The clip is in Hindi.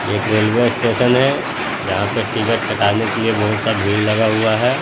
एक रेलवे स्टेशन है जहाँ पे टिकट कटाने के लिए बहुत सा भीड़ लगा हुआ है।